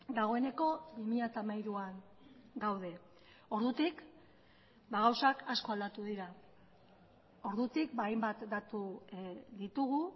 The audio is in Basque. dagoeneko bi mila hamairuan gaude ordutik gauzak asko aldatu dira ordutik hainbat datu ditugu